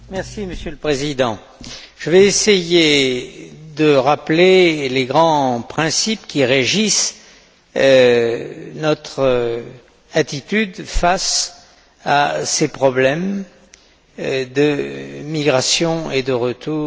Monsieur le Président, je vais essayer de rappeler les grands principes qui régissent notre attitude face à ces problèmes de migration et de retour.